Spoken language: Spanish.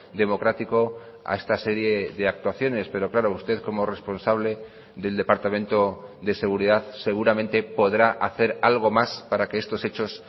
democrático a esta serie de actuaciones pero claro usted como responsable del departamento de seguridad seguramente podrá hacer algo más para que estos hechos